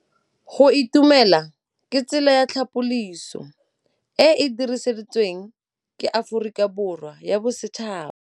Go itumela ke tsela ya tlhapolisô e e dirisitsweng ke Aforika Borwa ya Bosetšhaba.